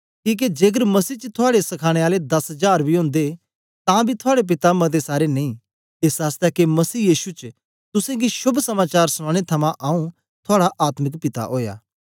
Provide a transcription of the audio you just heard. किके जेकर मसीह च थुआड़े सखाने आले दस जार बी ओदे तां बी थुआड़े पिता मते सारे नेई एस आसतै के मसीह यीशु च तुसेंगी शोभ समाचार सुनाने थमां आऊँ थुआड़ा आत्मिक पिता ओया